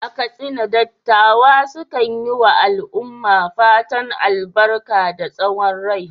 A Katsina, dattawa sukan yi wa al’umma fatan albarka da tsawon rai.